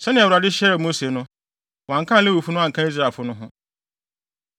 Sɛnea Awurade hyɛɛ Mose no, wɔankan Lewifo no anka Israelfo no ho.